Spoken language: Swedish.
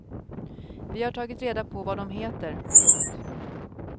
Vi har tagit reda på vad dom heter. punkt